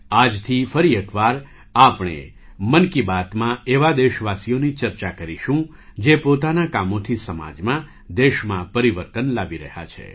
આજથી ફરી એક વાર આપણે 'મન કી બાત'માં એવા દેશવાસીઓની ચર્ચા કરીશું જે પોતાનાં કામોથી સમાજમાં દેશમાં પરિવર્તન લાવી રહ્યા છે